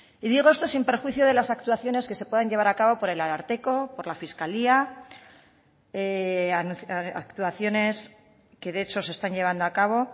y digo esto sin perjuicio de las actuaciones que se puedan llevar a cabo por el ararteko por la fiscalía actuaciones que de hecho se están llevando a cabo